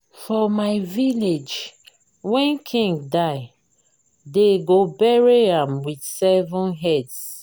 for my village wen king die dey go bury am with seven heads